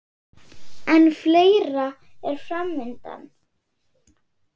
En fleira er fram undan.